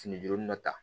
Fini jogin dɔ ta